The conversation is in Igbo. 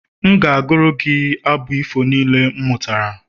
M ga-agụru gị abụ ifo niile m mụtara